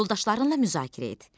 Yoldaşlarınla müzakirə et.